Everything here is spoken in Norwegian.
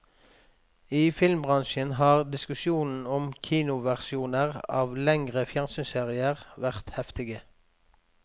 I filmbransjen har diskusjonen om kinoversjoner av lengre fjernsynsserier vært heftige.